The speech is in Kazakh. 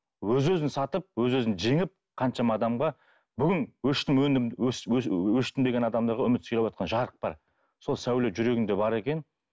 өз өзін сатып өз өзін жеңіп қаншама адамға бүгін өштім өндім өштім деген адамдарға үміт сыйлаватқан жарық бар сол сәуле жүрегіңде бар екен